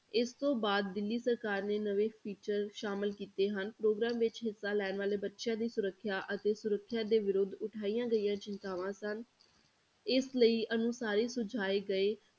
ਇਸ ਤੋਂ ਬਾਅਦ ਦਿੱਲੀ ਸਰਕਾਰ ਨੇ ਨਵੇਂ teacher ਸ਼ਾਮਲ ਕੀਤੇ ਹਨ, ਪ੍ਰੋਗਰਾਮ ਵਿੱਚ ਹਿੱਸਾ ਲੈਣ ਵਾਲੇ ਬੱਚਿਆਂ ਦੀ ਸੁਰੱਖਿਆ ਅਤੇ ਸੁਰੱਖਿਆ ਦੇ ਵਿਰੁੱਧ ਉਠਾਈਆਂ ਗਈਆਂ ਚਿੰਤਾਵਾਂ ਸਨ, ਇਸ ਲਈ ਅਨੁਸਾਰੀ ਸੁਝਾਏ ਗਏ